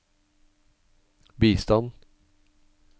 bistand